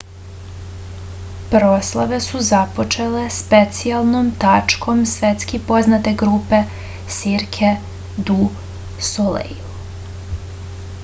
proslave su započele specijalnom tačkom svetski poznate grupe cirque du soleil